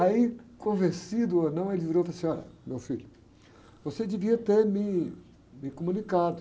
Aí, convencido ou não, ele virou e falou assim, olha, meu filho, você devia ter me, me comunicado.